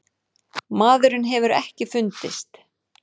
Maðurinn hefur ekki fundist.